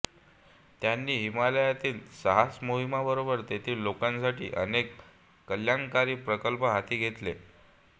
त्यांनी हिमालयातील साहसमोहिमांबरोबर तेथील लोकांसाठी अनेक कल्यणकारी प्रकल्प हाती घेतले आहेत